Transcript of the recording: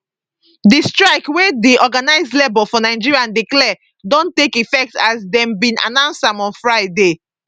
di strike wey di organized labour for nigeria declare don take effect as dem bin announce am on friday